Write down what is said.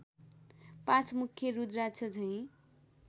पाँचमुखे रुद्राक्ष झैँ